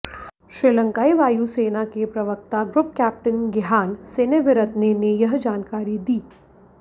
श्रीलंकाई वायुसेना के प्रवक्ता ग्रुप कैप्टन गिहान सेनेविरत्ने ने यह जानकारी दी